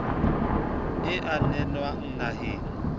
e a nenwa naheng ya